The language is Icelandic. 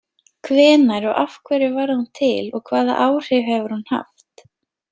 Hvenær og af hverju varð hún til og hvaða áhrif hefur hún haft?